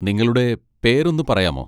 നിങ്ങളുടെ പേര് ഒന്ന് പറയാമോ?